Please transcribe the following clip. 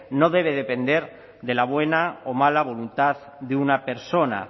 no debe depender de la buena o mala voluntad de una persona